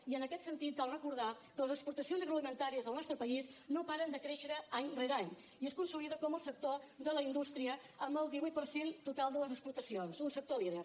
i en aquest sentit cal recordar que les exportacions agroalimentàries del nostre país no paren de créixer any rere any i es consolida com el sector de la indústria amb el divuit per cent total de les exportacions un sector líder